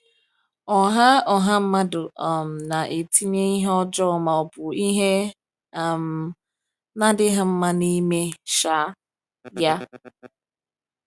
Ọ̀ha Ọ̀ha mmadụ um na-etinye ihe ọjọọ ma ọ bụ ihe um na-adịghị mma n’ime um ya?